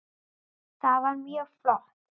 Það var mjög flott.